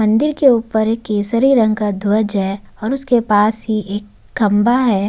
मंदिर के ऊपर एक केसरी रंग का ध्वज है और उसके पास ही एक खम्बा है।